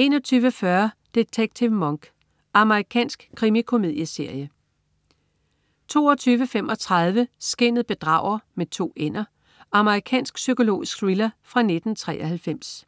21.40 Detektiv Monk. Amerikansk krimikomedieserie 22.35 Skinnet bedrager. Amerikansk psykologisk thriller fra 1993